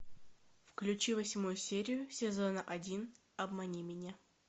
включи восьмую серию сезона один обмани меня